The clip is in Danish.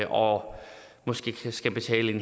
og måske skal betale en